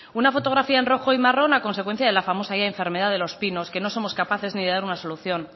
una fotografía en rojo y marrón a consecuencia de la famosa ya enfermedad de los pinos que no somos capaces ni de dar una solución